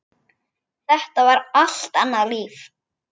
Þetta er allt annað líf.